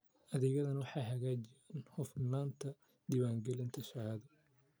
Adeegyadani waxay hagaajiyaan hufnaanta diiwaangelinta shahaado.